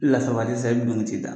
E Lasabali sa e bɛ don ka t'i da.